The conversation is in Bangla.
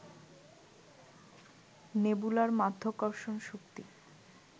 নেবুলার মাধ্যাকর্ষণ শক্তি